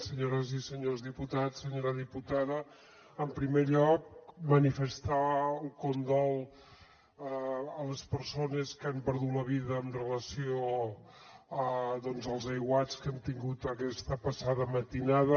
senyores i senyors diputats senyora diputada en primer lloc manifestar el condol a les persones que han perdut la vida en relació amb els aiguats que hem tingut aquesta passada matinada